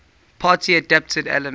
party adapted elements